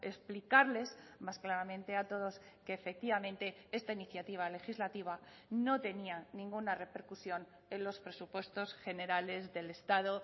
explicarles más claramente a todos que efectivamente esta iniciativa legislativa no tenía ninguna repercusión en los presupuestos generales del estado